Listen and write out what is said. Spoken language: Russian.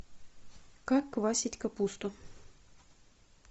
как квасить капусту